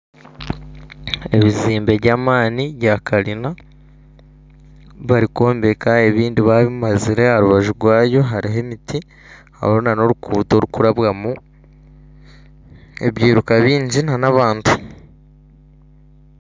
Ebizimbe by'amaani bya karina barikwombeka ebindi babimazire aharubaju rwabyo hariho emiti hariho nana oruguuto rurikurabwamu ebiiruka bingi nana abantu